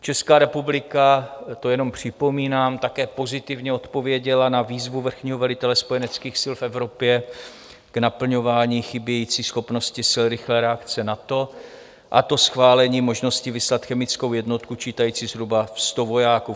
Česká republika, to jenom připomínám, také pozitivně odpověděla na výzvu vrchního velitele spojeneckých sil v Evropě k naplňování chybějící schopnosti sil rychlé reakce NATO, a to schválením možnosti vyslat chemickou jednotku čítající zhruba 100 vojáků.